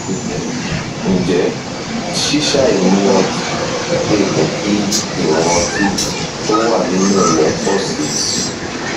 ǹjẹ ǹjẹ ṣíṣàì mu ọtí lè mú kí ìwọn ọtí tó wà nínú rẹ pọ sí i